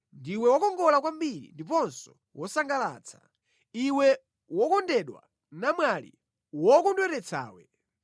Ndiwe wokongola kwambiri ndiponso wosangalatsa, iwe wokondedwa, namwali wokondweretsawe!